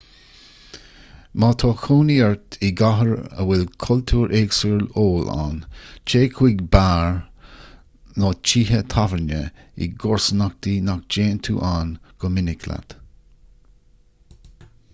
má tá cónaí ort i gcathair a bhfuil cultúr éagsúil óil ann téigh chuig beáir nó tithe tábhairne i gcomharsanachtaí nach dtéann tú ann go minic leat